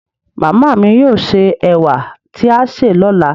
màmá mi yóò sè ewà tí a sè lọ́la